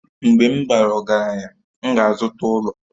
Mgbe m bara ọgaranya, m ga-azụta ụlọ